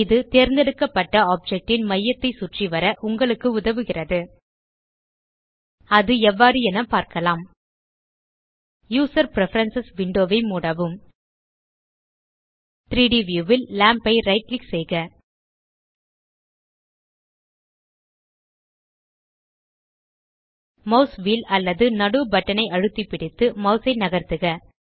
இது தேர்ந்தெடுக்கப்பட்ட ஆப்ஜெக்ட் ன் மையத்தை சுற்றிவர உங்களுக்கு உதவுகிறது அது எவ்வாறு என பார்க்கலாம் யூசர் பிரெஃபரன்ஸ் விண்டோ ஐ மூடவும் 3ட் வியூ ல் லாம்ப் ஐ ரைட் கிளிக் செய்க மாஸ் வீல் அல்லது நடு பட்டன் ஐ அழுத்தி பிடித்து மாஸ் ஐ நகர்த்துக